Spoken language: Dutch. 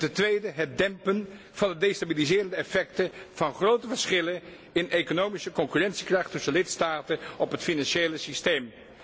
En ten tweede, het dempen van het destabiliserende effecten van grote verschillen in economische concurrentiekracht tussen lidstaten op het financiële systeem.